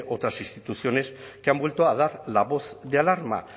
otras instituciones que han vuelto a dar la voz de alarma